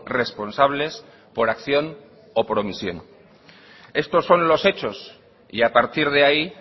responsables por acción o por omisión estos son los hechos y a partir de ahí